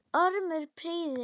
Ormur pírði augun.